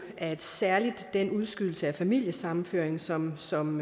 at særlig den udskydelse af familiesammenføring som som